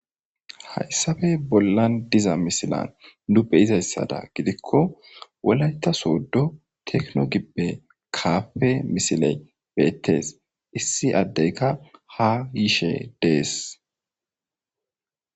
Hayssabe bollan diza misilan nu beyizayssada gidikko wolayta sooddo tekno gibbe kaafe misile beettes issi addeyka ha yiishe dees.